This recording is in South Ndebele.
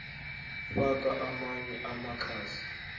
faka amanye amakhasi